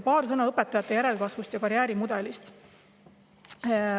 Paar sõna õpetajate järelkasvust ja karjäärimudelist.